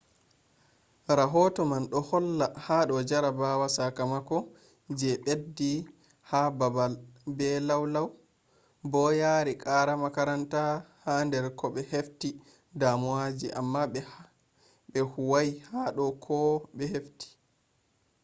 rahoto man do holla hado jarabawa sakamako je beddi ha babal be lau lau bo yari qara makaranta ha dar kobe hefti damuwaji amma be huwai hado koh be hefti